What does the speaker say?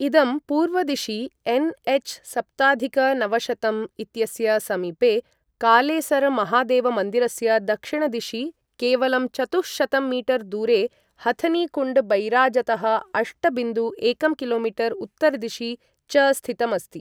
इदं पूर्वदिशि एनएच सप्ताधिक नवशतं इत्यस्य समीपे कालेसरमहादेवमन्दिरस्य दक्षिणदिशि केवलं चतुःशतं मीटर् दूरे, हथनीकुण्डबैराजतः अष्ट बिन्दु एकं किलोमीटर् उत्तरदिशि च स्थितम् अस्ति ।